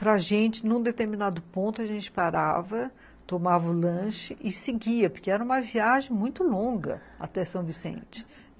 Para gente, num determinado ponto, a gente parava, tomava o lanche e seguia, porque era uma viagem muito longa até São Vicente.